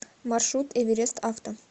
маршрут эверест авто